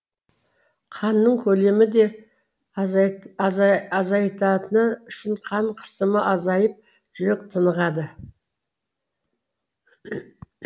қанның көлемі де азайатыны үшін қан қысымы азайып жүрек тынығады